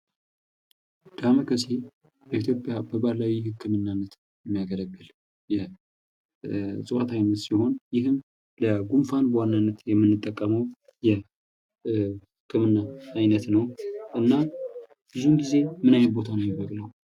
ዳማ ከሴ በኢትዮጵያ በባህላዊ ህክማናነት የሚያገለግል የእጽዋት አይነት ሲሆን ይህም ለጉንፋን በዋናነት የምንጠቀመው የህክምና አይነት ነው። እና ብዙ ጊዜው ምን አይነት ቦታ ላይ ነው የሚጎዳው?